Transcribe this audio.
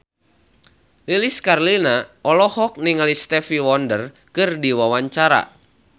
Lilis Karlina olohok ningali Stevie Wonder keur diwawancara